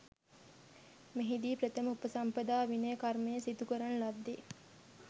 මෙහිදී ප්‍රථම උපසම්පදා විනය කර්මය සිදු කරන ලද්දේ